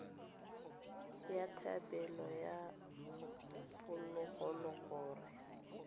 ya thebolo ya phologolo gore